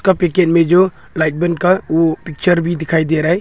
Packet में जो light bun का वो पिक्चर भी दिखाई दे रहा है।